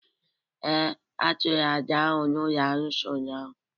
Ee, a chụrụ àjà ahụ n’ụlọ arụsị ụnyahụ